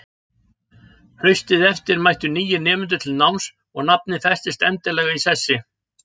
Haustið eftir mættu nýir nemendur til náms og nafnið festist endanlega í sessi.